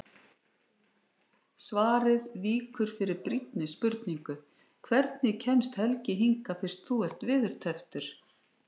Svarið víkur fyrir brýnni spurningu: Hvernig kemst Helgi hingað fyrst þú ert veðurtepptur?